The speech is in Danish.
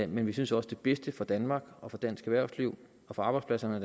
men vi synes også det bedste for danmark og for dansk erhvervsliv og for arbejdspladserne